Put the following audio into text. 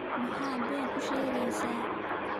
Maxaad been iigu sheegaysaa?